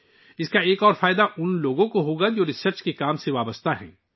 اس کا ایک اور فائدہ ان لوگوں کو ہوگا، جو تحقیقی کام سے وابستہ ہیں